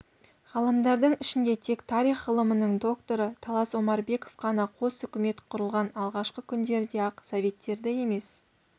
ғалымдардың ішінде тек тарих ғылымының докторы талас омарбеков қана қос үкімет құрылған алғашқы күндерде-ақ советтерді емес